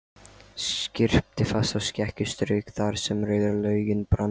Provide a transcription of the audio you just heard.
Skyrpti fast og skeggið strauk þar sem rauður loginn brann.